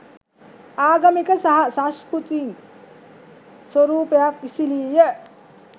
ආගමික සහ සංස්කෘතික් ස්වරූපයක් ඉසිලීය